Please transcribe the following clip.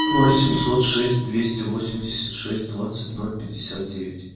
ноль семьсот шесть двести восемьдесят шесть двадцать ноль пятьдесят девять